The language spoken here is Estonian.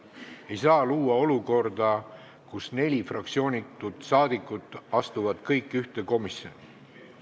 Ei saa luua olukorda, kus neli fraktsioonitut parlamendiliiget astuvad kõik ühte komisjoni.